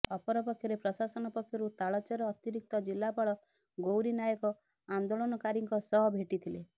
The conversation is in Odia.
ଅପରପକ୍ଷରେ ପ୍ରଶାସନ ପକ୍ଷରୁ ତାଳଚେର ଅତିରିକ୍ତ ଜିଲ୍ଲାପାଳ ଗୈାରୀ ନାଏକ ଆନେ୍ଦାଳନକାରୀଙ୍କ ସହ ଭେଟିଥିଲେ